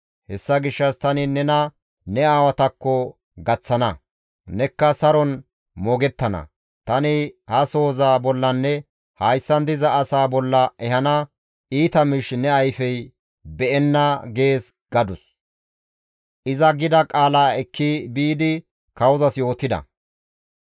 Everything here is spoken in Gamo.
Hessa gishshas tani nena ne aawatakko gaththana; nekka saron moogettana; tani ha sohoza bollanne hayssan diza asaa bolla ehana iita miish ne ayfey be7enna› gees» gadus. Iza gida qaala ekki biidi kawozas yootida.